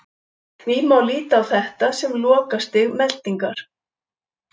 Því má líta á þetta sem lokastig meltingar.